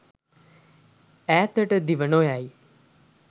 ඈතට දිව නොයයි